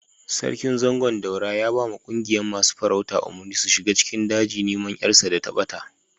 Sarkin Zangon Daura ya ba ma ƙungiyan masun farauta umurni su shiga cikin daji niman yar sa dai ta bata.